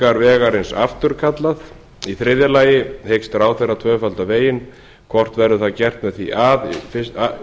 þrígreiningar vegarins afturkallað í þriðja lagi hyggst ráðherra tvöfalda veginn hvort verður það gert með því að